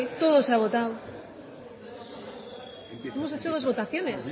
todo se ha votado hemos hecho dos votaciones